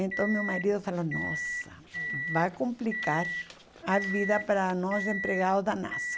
Então meu marido falou, nossa, vai complicar a vida para nós empregados da NASA.